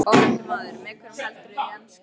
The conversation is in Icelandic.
Ónefndur maður: Með hverjum heldurðu í enska?